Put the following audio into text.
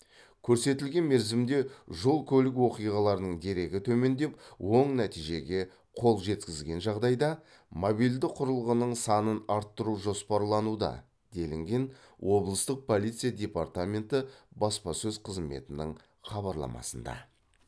көрсетілген мерзімде жол көлік оқиғаларының дерегі төмендеп оң нәтижеге қол жеткізген жағдайда мобильді құрылғының санын арттыру жоспарлануда делінген облыстық полиция департаменті баспасөз қызметінің хабарламасында